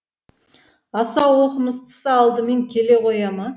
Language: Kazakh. аса оқымыстысы алдымен келе қоя ма